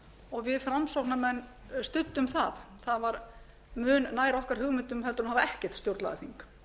og við framsóknarmenn studdum það það var mun nær okkar hugmyndum en að hafa ekkert stjórnlagaþing